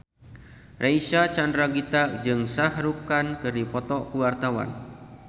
Reysa Chandragitta jeung Shah Rukh Khan keur dipoto ku wartawan